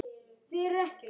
Það var hefð hjá okkur.